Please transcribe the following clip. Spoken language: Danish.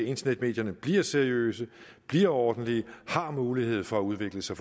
internetmedierne bliver seriøse bliver ordentlige og har mulighed for at udvikle sig